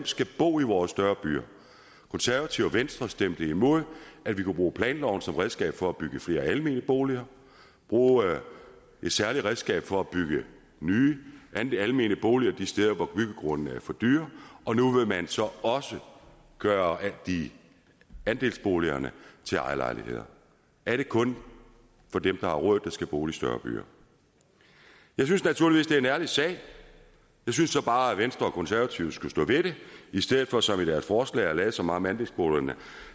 skal bo i vores større byer konservative og venstre stemte imod at vi kunne bruge planloven som redskab for at bygge flere almene boliger bruge et særligt redskab for at bygge nye almene boliger de steder hvor byggegrundene er for dyre og nu vil man så også gøre andelsboligerne til ejerlejligheder er det kun dem har råd der skal bo i større byer jeg synes naturligvis det er en ærlig sag jeg synes så bare at venstre og konservative skulle stå ved det i stedet for som i deres forslag at lade som om de vil